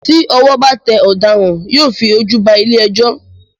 Tí ọwọ́ bá tẹ ọ̀daràn, yóò fi ojú ba ilé-ẹjọ́